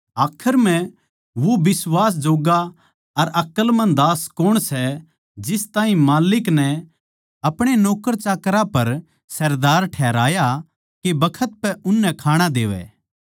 आखर म्ह वो बिश्वास जोग्गा अर अकलमंद दास कौण सै जिस ताहीं माल्लिक नै अपणे नौक्करचाकरां पर सरदार ठहराया के बखत पै उननै खाणा देवै